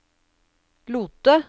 Lote